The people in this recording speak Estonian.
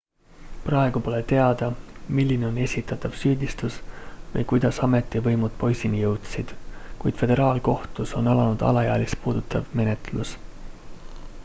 praegu pole teada milline on esitatav süüdistus või kuidas ametivõimud poisini jõudsid kuid föderaalkohtus on alanud alaealist puudutav menetlus